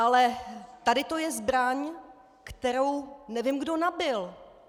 Ale tady to je zbraň, kterou nevím, kdo nabil.